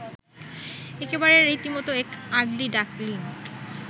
একেবারে রীতিমতো এক আগলি ডাকলিঙ